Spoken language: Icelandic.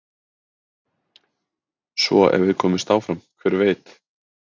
Svo ef við komumst áfram hver veit?